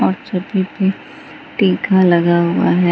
Tanker लगा हुआ है।